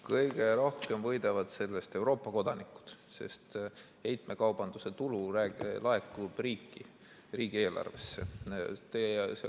Kõige rohkem võidavad sellest Euroopa kodanikud, sest heitmekaubanduse tulu laekub riikide riigieelarvesse.